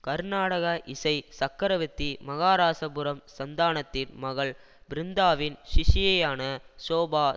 கர்நாடக இசை சக்கரவர்த்தி மகாராஐபுரம் சந்தானத்தின் மகள் பிருந்தாவின் சிஷ்யையான ஷோபா